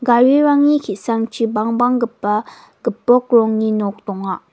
garirangni ki·sangchi bangbanggipa gipok rongni nok donga.